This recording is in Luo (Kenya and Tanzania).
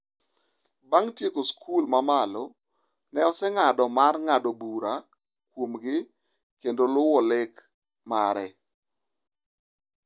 Bang’ tieko sikul ma malo, ne oseng’ado mar ng’ado bura kuomgi kendo "luwo lek mare".